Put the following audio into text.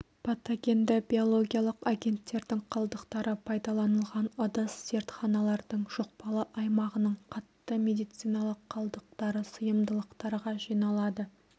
патогенді биологиялық агенттердің қалдықтары пайдаланылған ыдыс зертханалардың жұқпалы аймағының қатты медициналық қалдықтары сыйымдылықтарға жиналады